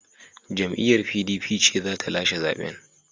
Jam’iyyar PDP ce za ta lashe zaben.